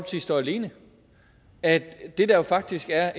står alene at det der faktisk er